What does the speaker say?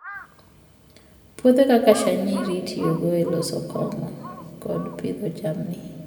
Puothe kaka shayiri itiyogo e loso kong'o kod pidho jamni.